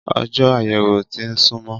Ọjó àyẹ̀wò ti ń sún mó